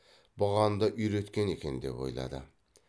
бұған да үйреткен екен деп ойлады